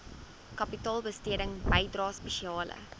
kapitaalbesteding bydrae spesiale